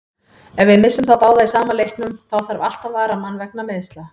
Ef við missum þá báða í sama leiknum, þá þarf alltaf varamann vegna meiðsla.